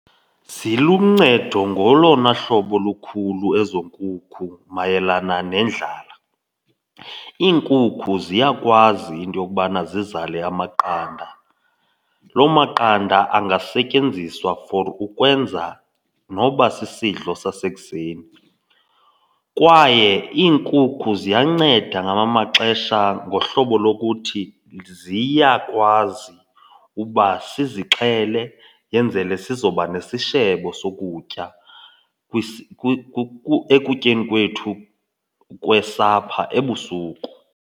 Ziluncedo ngolona hlobo lukhulu ezo nkukhu mayelana nendlala. Iinkukhu ziyakwazi into yokubana zizale amaqanda. Loo maqanda angasetyenziswa for ukwenza noba sisidlo sasekuseni. Kwaye iinkukhu ziyanceda ngamanye amaxesha ngohlobo lokuthi ziyakwazi uba sizixhele yenzele sizoba nesishebo sokutya ekutyeni kwethu kwesapha ebusuku.